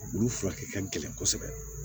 Olu furakɛ ka gɛlɛn kosɛbɛ